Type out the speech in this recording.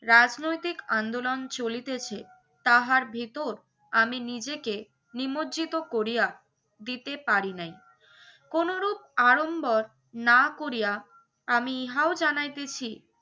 রাজনৈতিক আন্দোলন চলিতেছে তাহার ভেতর আমি নিজেকে নিমজ্জিত করিয়া দিতে পারি নাই। কোনোরূপ আড়ম্বর না করিয়া আমি ইহাও জানাইতেছি